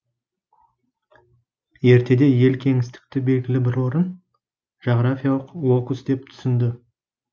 ертеде ел кеңістікті белгілі бір орын жағрафиялық локус деп түсінді